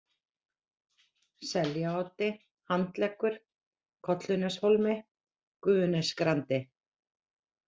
Seljaoddi, Handleggur, Kolluneshólmi, Gufunesgrandi